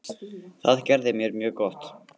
Það gerði mér mjög gott.